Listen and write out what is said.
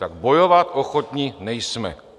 Tak bojovat ochotni nejsme.